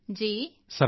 ਸਰਾਹਨਾ ਕਰਾਂਗਾ